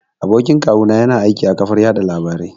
Abokin kawu na ya na aiki a ƙafar yaɗa labarai